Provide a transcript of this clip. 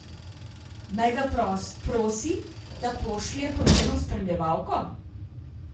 Naj ga prosi, da pošlje po njeno spremljevalko?